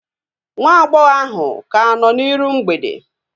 Nwa agbọghọ ahu ka nọ n'iru mgbede